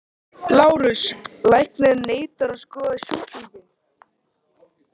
LÁRUS: Læknirinn neitar að skoða sjúklinginn.